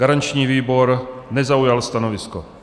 Garanční výbor nezaujal stanovisko.